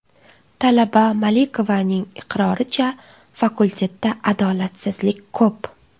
Talaba Malikovaning iqroricha, fakultetda adolatsizlik ko‘p.